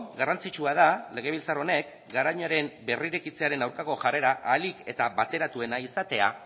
garrantzitsua da legebiltzar honek garoñaren berrirekitzearen aurkako jarrera ahalik eta bateratuena izatea